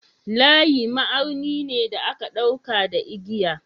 Layi ma'auni ne da aka ɗauka da igiya.